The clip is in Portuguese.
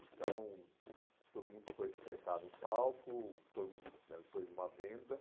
Então, todo mundo foi se sentar no palco, todo mundo né, ele pôs uma venda